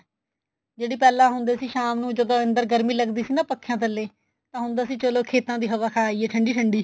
ਜਿਹੜੀ ਪਹਿਲਾਂ ਹੁੰਦੇ ਸੀ ਸ਼ਾਮ ਨੂੰ ਜਦੋਂ ਅੰਦਰ ਗਰਮੀ ਲੱਗਦੀ ਸੀ ਨਾ ਪੱਖਿਆ ਥੱਲੇ ਤਾਂ ਹੁੰਦਾ ਸੀ ਚਲੋ ਖੇਤਾ ਦੀ ਹਵਾ ਖਾ ਆਈਏ ਠੰਡੀ ਠੰਡੀ